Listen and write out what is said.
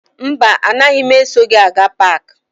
Mba, anaghị m eso gị aga paakị.